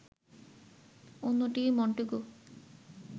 অন্যটি মন্টেগু